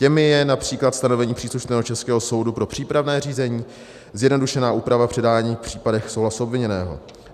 Těmi je například stanovení příslušného českého soudu pro přípravné řízení, zjednodušená úprava předání v případech souhlasu obviněného.